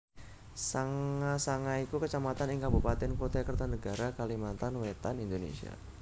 Sanga Sanga iku Kecamatan ing Kabupatèn Kutai Kartanegara Kalimantan Wétan Indonesia